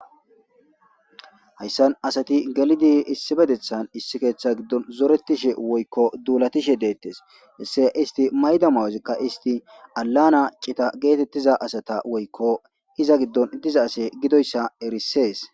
hayssan asati galidi issi bedethan issi keeththa giddon zoretishe woykko duulatishe deettes isse isti mayda mawozikka isti alana cita geetettiza asata woykko iza giddon diza ase gidoyssa erisees